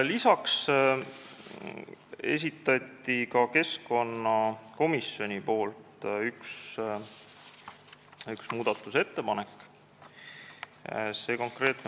Lisaks esitas ka keskkonnakomisjon ühe muudatusettepaneku.